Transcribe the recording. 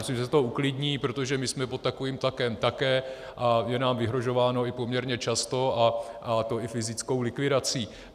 Myslím, že se to uklidní, protože my jsme pod takovým tlakem také a je nám vyhrožováno i poměrně často, a to i fyzickou likvidací.